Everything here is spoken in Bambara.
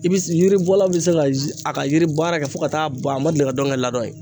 I bi yiribɔla bɛ se ka a ka yiri baara kɛ fo ka taa ban, a ma deli ka dɔn ka ladɔn yen.